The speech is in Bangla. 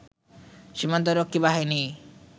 সীমান্তরক্ষী বাহিনী